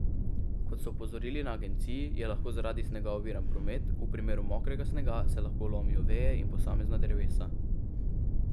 Kot so opozorili na agenciji, je lahko zaradi snega oviran promet, v primeru mokrega snega se lahko lomijo veje in posamezna drevesa.